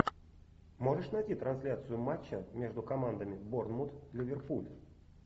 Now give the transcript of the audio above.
можешь найти трансляцию матча между командами борнмут ливерпуль